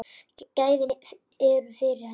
Gæðin eru fyrir hendi.